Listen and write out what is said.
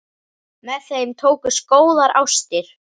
Með þeim tókust góðar ástir.